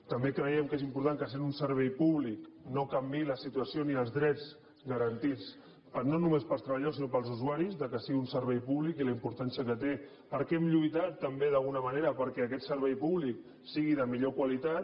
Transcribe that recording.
també creiem que és important que sent un servei pú·blic no canviïn la situació ni els drets garantits no no·més per als treballadors sinó per als usuaris que sigui un servei públic i la importància que té perquè hem lluitat també d’alguna manera perquè aquest servei públic sigui de millor qualitat